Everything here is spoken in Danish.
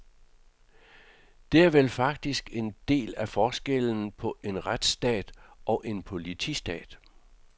Det er vel faktisk en del af forskellen på en retsstat og en politistat.